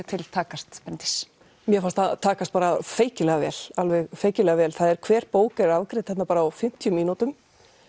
til takast Bryndís mér fannst það takast bara feykilega vel alveg feykilega vel hver bók er afgreidd þarna bara á fimmtíu mínútum